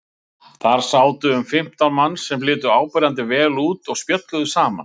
Þar sátu um fimmtán manns sem litu áberandi vel út og spjölluðu saman.